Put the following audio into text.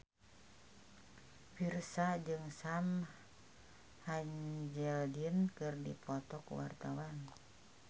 Virzha jeung Sam Hazeldine keur dipoto ku wartawan